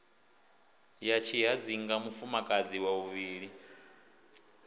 ya tshihadzinga mufumakadzi wa vhuvhili